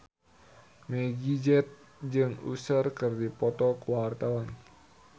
Meggie Z jeung Usher keur dipoto ku wartawan